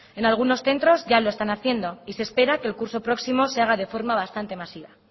en algunos centros ya lo están haciendo y se espera que el curso próximo se haga de forma bastantes masiva